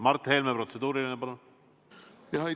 Mart Helme, protseduuriline, palun!